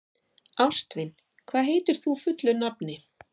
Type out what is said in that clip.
Ástvin, hvað heitir þú fullu nafni?